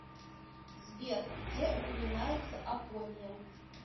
сбер где упоминается апория